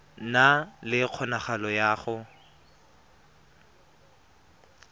na le kgonagalo ya go